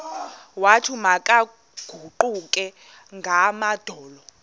wathi makaguqe ngamadolo